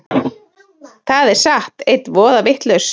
Það er satt. einn voða vitlaus!